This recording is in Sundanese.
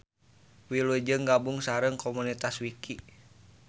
Wilujeng gabung sareng komunitas Wiki.